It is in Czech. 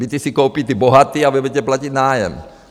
Byty si koupí ti bohatí a vy budete platit nájem.